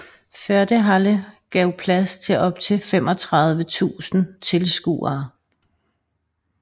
Fördehalle gav plads til op til 3500 tilskuere